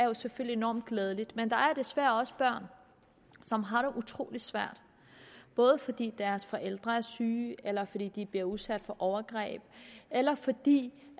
er selvfølgelig enormt glædeligt men der er desværre også børn som har det utrolig svært fordi deres forældre er syge eller fordi de bliver udsat for overgreb eller fordi